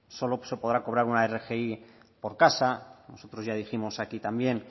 solo se podrá cobrar una rgi por casa nosotros ya dijimos aquí también